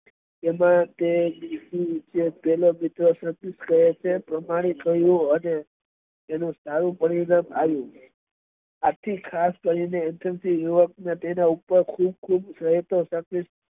એમાં પહેલો મિત્ર સત્ય કહે છે તેવું પ્રમાણિત થયું' તેનું સારું પરિણામ આવ્યું અને ખાસ કરી ને યુવક ને તેના ઉપર ખુબ ખુબ